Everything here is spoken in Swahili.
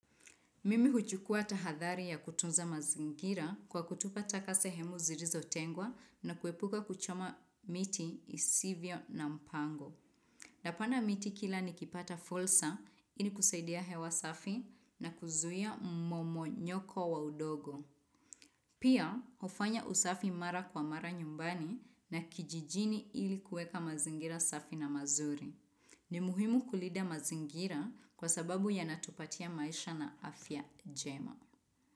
Mimi huchukua tahadhari ya kutunza mazingira kwa kutupa taka sehemu zirizo tengwa na kuepuka kuchoma miti isivyo na mpango. Napanda miti kila nikipata fulsa ili kusaidia hewa safi na kuzuia mmomonyoko wa udogo. Pia, hufanya usafi mara kwa mara nyumbani na kijijini ili kuweka mazingira safi na mazuri. Ni muhimu kulida mazingira kwa sababu yanatupatia maisha na afya jema.